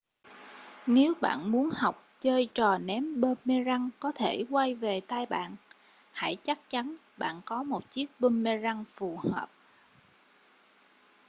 nếu bạn muốn học chơi trò ném boomerang có thể quay về tay bạn hãy chắc chắn bạn có một chiếc boomerang phù hợp